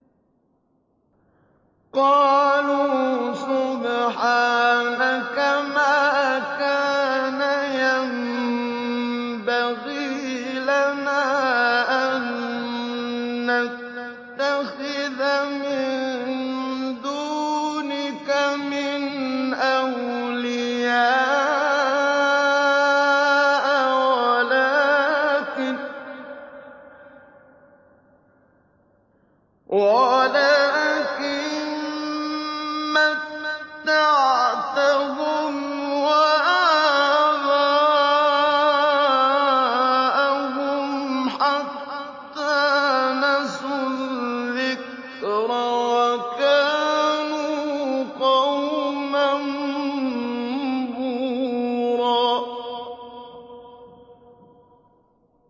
قَالُوا سُبْحَانَكَ مَا كَانَ يَنبَغِي لَنَا أَن نَّتَّخِذَ مِن دُونِكَ مِنْ أَوْلِيَاءَ وَلَٰكِن مَّتَّعْتَهُمْ وَآبَاءَهُمْ حَتَّىٰ نَسُوا الذِّكْرَ وَكَانُوا قَوْمًا بُورًا